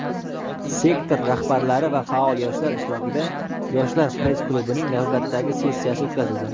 sektor rahbarlari va faol yoshlar ishtirokida "Yoshlar press-klubi"ning navbatdagi sessiyasi o‘tkazildi.